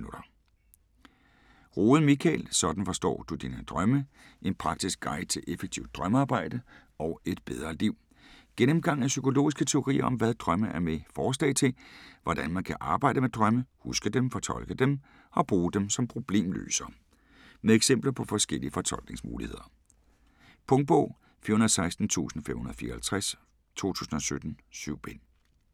Rohde, Michael: Sådan forstår du dine drømme: en praktisk guide til effektivt drømmearbejde - og et bedre liv Gennemgang af psykologiske teorier om, hvad drømme er med forslag til, hvordan man kan arbejde med drømme: Huske dem, fortolke dem og bruge dem som problemløsere. Med eksempler på forskellige fortolkningsmuligheder. Punktbog 416554 2017. 7 bind.